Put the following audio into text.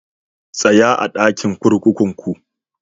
Tsaya a'dakin kurkukun ku!